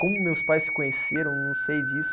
Como meus pais se conheceram, eu não sei disso.